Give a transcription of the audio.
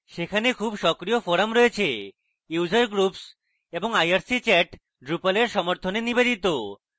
সেখানে খুব সক্রিয় forums রয়েছে user groups এবং irc চ্যাট drupal এর সমর্থনে নিবেদিত